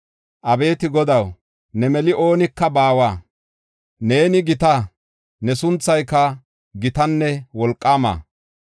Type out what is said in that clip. Abeeti Godaw, ne mali oonika baawa. Neeni gita; ne sunthayka gitanne wolqaama.